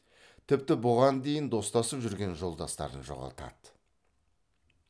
тіпті бұған дейін достасып жүрген жолдастарын жоғалтады